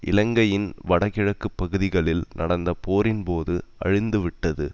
இலங்கையின் வட கிழக்கு பகுதிகளில் நடந்த போரின்போது அழிந்துவிட்டது